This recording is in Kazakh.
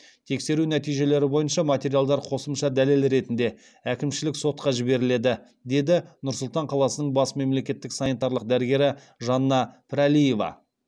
тексеру нәтижелері бойынша материалдар қосымша дәлел ретінде әкімшілік сотқа жіберіледі деді нұр сұлтан қаласының бас мемлекеттік санитарлық дәрігері жанна пірәлиева